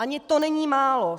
Ani to není málo.